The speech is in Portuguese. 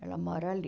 Ela mora ali.